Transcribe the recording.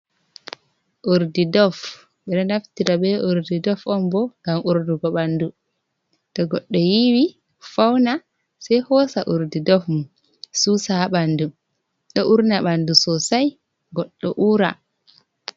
Urdi ''Dove''. Ɓe ɗo naftira bee urdi ''Dove'' on bo ngam uurnugo ɓanndu. To goɗɗo yiiwake fawno see hoosa urdi ''Dove'' mum suusa ɓanndu, ɗo uurna ɓanndu ''sosai'' goɗɗo uura.